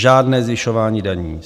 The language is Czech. Žádné zvyšování daní.